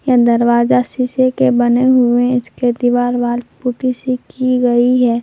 यह दरवाजा शीशे के बने हुए इसके दीवाल वॉल पुट्टी से की गई है।